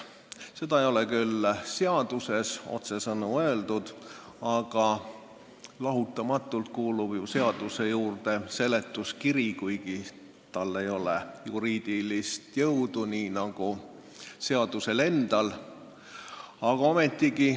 Seda ei ole küll seaduseelnõus otsesõnu öeldud, aga lahutamatult kuulub ju eelnõu juurde seletuskiri, kuigi tal ei ole juriidilist jõudu nii nagu seadusel endal.